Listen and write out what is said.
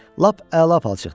Lap əla palçıqdır.